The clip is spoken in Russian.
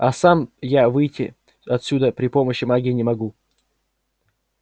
а сам я выйти отсюда при помощи магии не могу